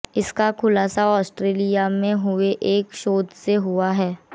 इसका खुलासा आस्ट्रेलिया में हुए एक शोध से हुआ है